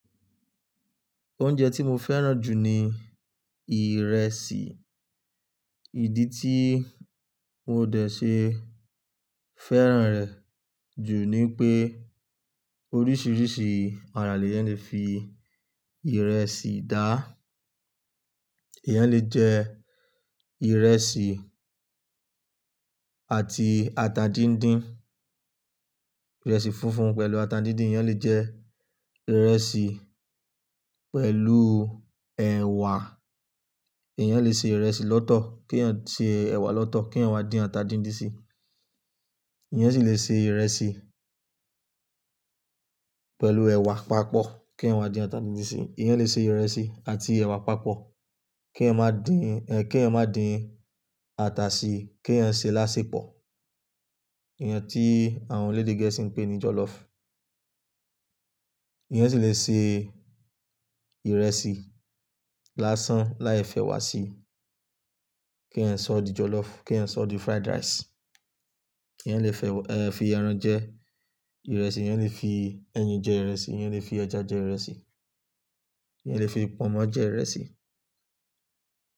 Oúnjẹ tí mo fẹ́ràn jù ni ìrẹsì. Ìdí tí mo dẹ̀ ṣe fẹ́ràn rẹ̀ jù ni pé oríṣiríṣi àrà lè yẹn lè fi ìrẹsì dà. Eeyan lè jẹ ìrẹsì àti ata díndín, ìrẹsì funfun pẹ̀lú ata díndín. Eeyan lè jẹ ìrẹsì pẹ̀lú ẹ̀wà, eeyan lè ṣe ìrẹsì lọ́tọ̀ kí èèyàn ṣe ẹ̀wà lọ́tọ̀ kí èèyàn má dín ata díndín sí i. Eeyan sì lè ṣe ìrẹsì pẹ̀lú ẹ̀wà papọ̀ kí èèyàn má dín ata díndín sí i. Eeyan lè ṣe ìrẹsì àti ẹ̀wà papọ̀ kí èèyàn má dín, ẹ, kí èèyàn má dín ata sí i kí èèyàn ṣe lásèpọ̀. Ìyẹn tí àwọn eledè Gẹ̀ẹ́sì ń pè ní jọlọ́ọ̀fù. Eeyan sì lè ṣe ìrẹsì lásán láì fẹ́wà sí i. Kí èèyàn sọ di jọlọ́ọ̀fù, kí èèyàn sọ di fried rice. Kí èèyàn lè fẹ́, ẹ, fi ẹran jẹ ìrẹsì, eeyan lè fi ẹyin jẹ ìrẹsì, eeyan lè fi ẹja jẹ ìrẹsì, eeyan lè fi pọnmọ́ jẹ ìrẹsì.